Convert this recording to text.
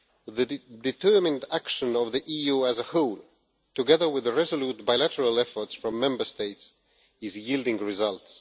The determined action of the EU as a whole, together with the resolute bilateral efforts from Member States, is yielding results.